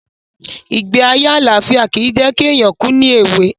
Ìgbé ayé àlàfíà ki jẹ̀ ki éyàn kù ni èwe